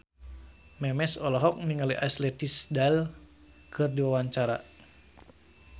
Memes olohok ningali Ashley Tisdale keur diwawancara